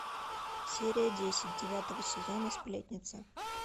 серия десять девятого сезона сплетница